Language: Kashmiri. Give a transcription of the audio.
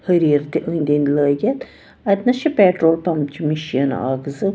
.ۂریٖرتہِ أنٛدۍأنٛدۍلٲگِتھ اَتہِ نس چھ پیڑول پمپچہِ مِشیٖن اکھ زٕ